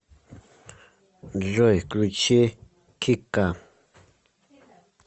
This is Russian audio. джой включи кика